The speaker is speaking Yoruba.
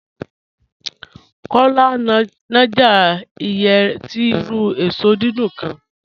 Kọ́lá ń náàjà ìyẹ̀ tì irù èṣọ́ dídùn kán